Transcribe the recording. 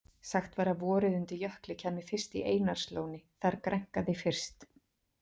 Sagt var að vorið undir Jökli kæmi fyrst í Einarslóni- þar grænkaði fyrst.